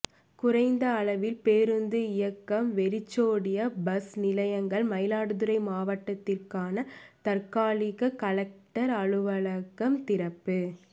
குறைந்த அளவில் பேருந்து இயக்கம் வெறிச்சோடிய பஸ் நிலையங்கள் மயிலாடுதுறை மாவட்டத்துக்கான தற்காலிக கலெக்டர் அலுவலகம் திறப்பு